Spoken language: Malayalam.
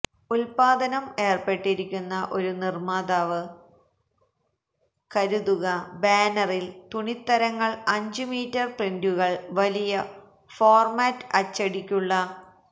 ഉത്പാദനം ഏർപ്പെട്ടിരിക്കുന്ന ഒരു നിർമ്മാതാവ് കരുതുക ബാനറിൽ തുണിത്തരങ്ങൾ അഞ്ചു മീറ്റർ പ്രിന്ററുകൾ വലിയ ഫോർമാറ്റ് അച്ചടിക്കുള്ള